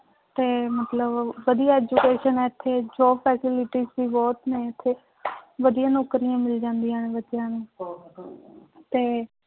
ਤੇ ਮਤਲਬ ਵਧੀਆ education ਹੈ ਇੱਥੇ job facilities ਵੀ ਬਹੁਤ ਨੇ ਇੱਥੇ ਵਧੀਆ ਨੌਕਰੀਆਂ ਮਿਲ ਜਾਂਦੀਆਂ ਨੇ ਬੱਚਿਆਂ ਨੂੰ ਤੇ